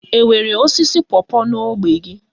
Enwere osisi pawpaw n'ógbè gị?